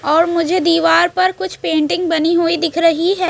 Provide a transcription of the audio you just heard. और मुझे दीवार पर कुछ पेंटिंग बनी हुई दिख रही है।